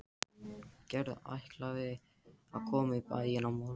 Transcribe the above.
Sigurpáll, syngdu fyrir mig „Afkvæmi hugsana minna“.